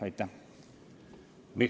Aitäh!